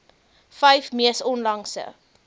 vyf mees onlangse